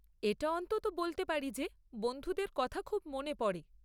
এটা অন্ততঃ বলতে পারি যে বন্ধুদের কথা খুব মনে পড়ে।